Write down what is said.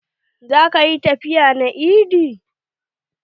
Za ka ƴi tafiya na eid?